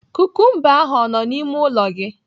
Kukumba ahụ ọ nọ n'ime ụlọ gị?